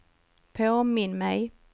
påminn mig